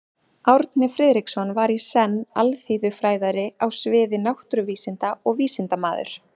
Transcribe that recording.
Árni Friðriksson var í senn alþýðufræðari á sviði náttúruvísinda og vísindamaður.